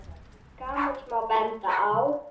Til gamans má benda á